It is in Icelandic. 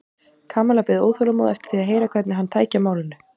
Kamilla beið óþolinmóð eftir því að heyra hvernig hann tæki á málinu.